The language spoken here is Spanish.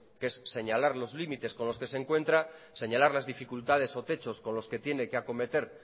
que es señalar los límites con los que se encuentran señalar las dificultades o techos con los que tiene que acometer